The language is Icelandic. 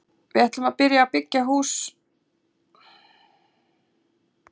Við ætlum að byrja að byggja í hús í ágúst á næsta ári.